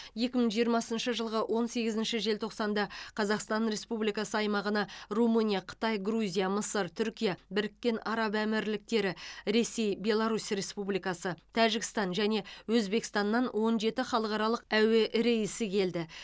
екі мың жиырмасыншы жылғы он сегізінші желтоқсанда қазақстан республикасы аймағына румыния қытай грузия мысыр түркия біріккен араб әмірліктері ресей беларусь республикасы тәжікстан және өзбекстаннан он жеті халықаралық әуе рейсі келді